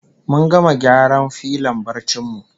Mun gama gyara filon barcin mu